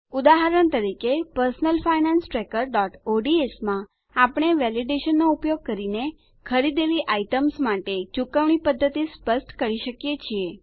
ઉદાહરણ તરીકેPersonal Finance Trackerods માં આપણે વેલીડેશનનો ઉપયોગ કરીને ખરીદેલી આઇટમ્સ માટે ચુકવણી પદ્ધતિ સ્પષ્ટ કરી શકીએ છીએ